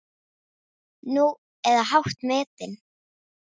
Nú, eða hátt metin.